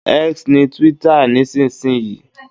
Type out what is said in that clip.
X ni twitter nísinsìnyí